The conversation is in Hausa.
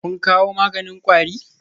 Kun kawo maganin kwari?